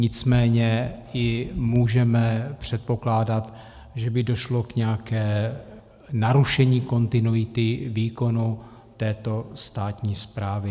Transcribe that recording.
Nicméně i můžeme předpokládat, že by došlo k nějakému narušení kontinuity výkonu této státní správy.